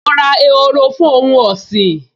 Mo ra ehoro fún ohun ọ̀sìn